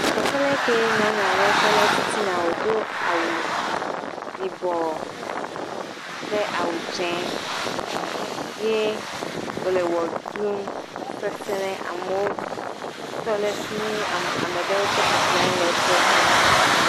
Teƒe aɖe kee nyɔnua ɖe tɔ ɖe titina wodo awu yibɔ kple awu dzi ye wo le wɔ ɖum seseɖe amewo tɔ le fi mi am ame ɖe tse bɔbɔnɔ anyi le ekpɔm duu.